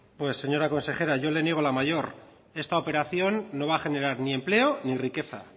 señora consejera yo le niego la mayor esta operación no va a generar ni empleo ni riqueza